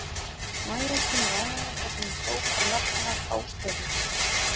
Mæja kemur að henni þar sem hún hrópar nafn hennar hástöfum.